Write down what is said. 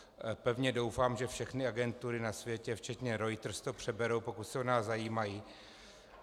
Pevně doufám, že všechny agentury na světě včetně Reuters to přeberou, pokud se o nás zajímají.